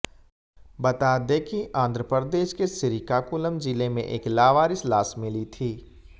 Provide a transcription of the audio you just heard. बता दें कि आंध्र प्रदेश के श्रीकाकुलम जिले में एक लावारिश लाश मिली थी